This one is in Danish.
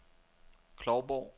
Klovborg